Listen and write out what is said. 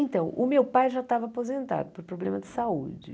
Então, o meu pai já estava aposentado por problema de saúde.